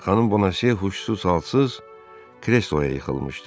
Xanım Bonase huşsuz, salsız kresloya yıxılmışdı.